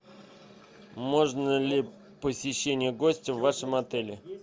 можно ли посещение гостя в вашем отеле